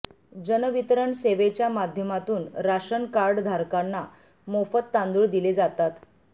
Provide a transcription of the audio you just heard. जन वितरण सेवेच्या माध्यमातून राशन कार्ड धारकांना मोफत तांदूळ दिले जातात